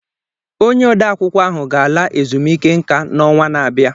Onye ode akwụkwọ ahụ ga-ala ezumike nka n'ọnwa na-abịa